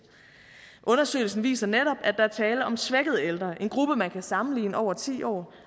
undersøgelsen viser netop at der er tale om svækkede ældre en gruppe man kan sammenligne over ti år